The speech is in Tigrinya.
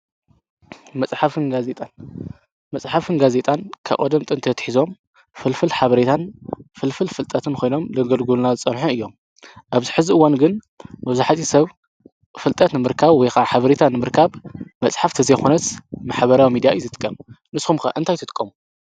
መጽሓፍንጋዜጣን ከቐደም ጥንቲ ትኂዞም ፍልፍል ሓበሪታን ፍልፍል ፍልጠትን ኾይኖም ለገልጉና ዝጸንሖ እዮም። ኣብዝ ሕዝእወን ግን መዙኃቲ ሰብ ፍልጠት ምርካብ ወይ ኃብሪታን እምርካብ መጽሓፍተዘይኾነት ማኅበራዊ ሚዲያ እዩ ዝጥቀም ንስኹምከ እንታኣይትትቆ?